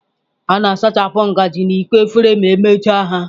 A ga-asachapụ ngaji na iko efere ma emechaa ya.